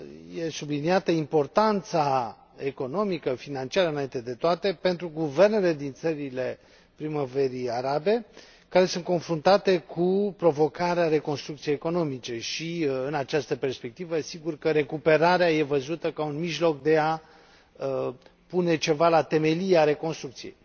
e subliniată importanța economică, financiară, înainte de toate, pentru guvernele din țările Primăverii arabe, care sunt confruntate cu provocarea reconstrucției economice și, din această perspectivă, sigur că recuperarea e văzută ca un mijloc de a pune ceva la temelia reconstrucției.